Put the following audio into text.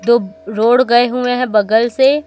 दो रोड गए हुए हैं बगल से।